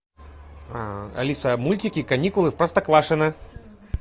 алиса мультики каникулы в простоквашино